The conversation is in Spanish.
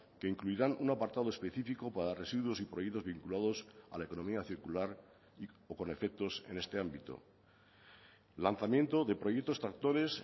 que incluirán un apartado especifico para residuos y proyectos vinculados a la economía circular o con efectos en este ámbito lanzamiento de proyectos tractores